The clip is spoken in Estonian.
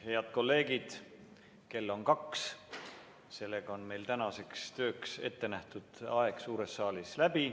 Head kolleegid, kell on kaks, tänaseks tööks ettenähtud aeg suures saalis on läbi.